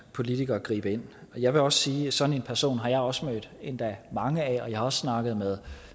politikere gribe ind jeg vil også sige at sådan nogle personer har jeg også nødt endda mange af og jeg har også snakket med